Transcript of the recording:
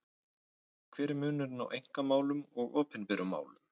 Hver er munurinn á einkamálum og opinberum málum?